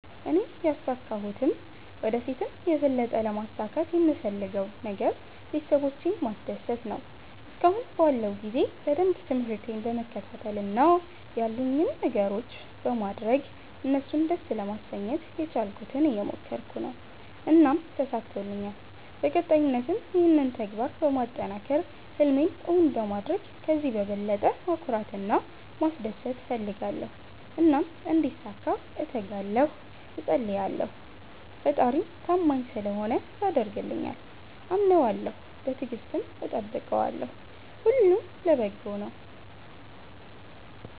እኔ ያሣካሁትም ወደ ፊትም የበለጠ ለማሣካት የምፈለገው ነገር ቤተሠቦቼን ማስደሰት ነዎ። እስከአሁን ባለው ጊዜ በደንብ ትምርህቴን በመከታተል እና ያሉኝን ነገሮች በማድረግ እነሡን ደስ ለማሠኘት የቻልኩትን እየሞከረኩ ነው። እናም ተሣክቶልኛል በቀጣይነትም ይህንን ተግባር በማጠናከር ህልሜን እውን በማድረግ ከዚህ በበለጠ ማኩራት እና ማስደሰት እፈልጋለሁ። እናም እንዲሣካ እተጋለሁ እፀልያለሁ። ፈጣሪም ታማኝ ስለሆነ ያደርግልኛል። አምነዋለሁ በትግስትም እጠብቀዋለሁ። ሁሉም ለበጎ ነው።